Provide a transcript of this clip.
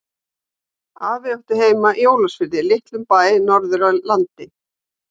Afi átti heima í Ólafsfirði, litlum bæ norður í landi.